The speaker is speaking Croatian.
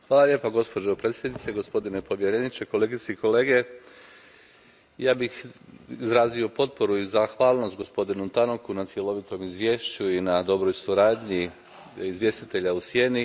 Poštovana predsjedavajuća, gospodine povjereniče, kolegice i kolege, ja bih izrazio potporu i zahvalnost gospodinu Tannocku na cjelovitom izvješću i na dobroj suradnji izvjestitelja u sjeni.